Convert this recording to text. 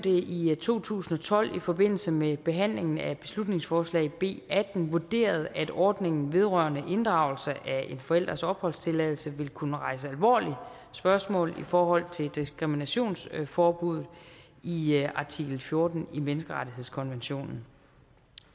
i to tusind og tolv i forbindelse med behandlingen af beslutningsforslag b atten vurderet at ordningen vedrørende inddragelse af en forælders opholdstilladelse ville kunne rejse alvorlige spørgsmål i forhold til diskriminationsforbuddet i artikel fjorten i menneskerettighedskonventionen